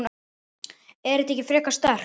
Er það ekki frekar sterkt?